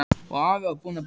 Og afi var búinn að baka.